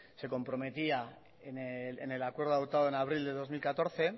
se comprometía en el acuerdo adoptado en abril de dos mil catorce